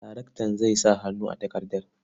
Daraktan zai sa hannu a takardar.